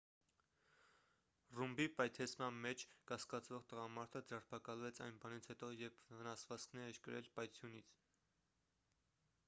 ռումբի պայթեցման մեջ կասկածվող տղամարդը ձերբակալվեց այն բանից հետո երբ վնասվածքներ էր կրել պայթյունից